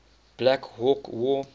black hawk war